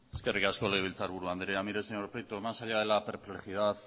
eskerrik asko legebiltzarburu andrea mire señor prieto más allá de la perplejidad